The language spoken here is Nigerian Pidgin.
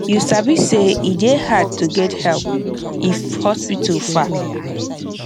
you sabi say e dey hard to get help if hospital far